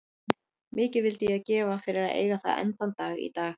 Mikið vildi ég gefa fyrir að eiga það enn þann dag í dag.